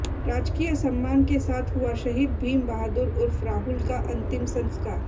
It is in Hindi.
राजकीय सम्मान के साथ हुआ शहीद भीम बहादुर उर्फ राहुल का अंतिम संस्कार